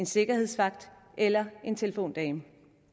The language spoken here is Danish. sikkerhedsvagter eller telefondamer